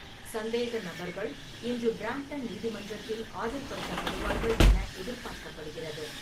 சந்தேகநபர்கள் இன்று பிரம்டன் நீதிமன்றத்தில் ஆஜர்படுத்தப்படுவார்கள் என எதிர்பார்க்கப்படுகிறது.